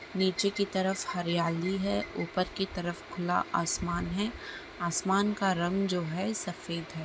नीचे की तरफ हरियाली है ऊपर की तरफ खुला आसमान है। आसमान का रंग जो है सफ़ेद है।